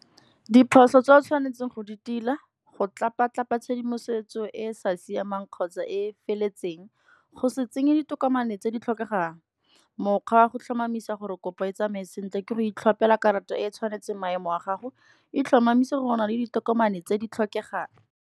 Diphoso tse a tshwanetseng go di tila, go tlapa-tlapa tshedimosetso e e sa siamang kgotsa e e feletseng. Go se tsenye ditokomane tse di tlhokegang, mokgwa wa go tlhomamisa gore kopo e tsamaye sentle ke go itlhopela karata e e tshwanetseng maemo a gago, e tlhomamisa gore o na le ditokomane tse di tlhokegang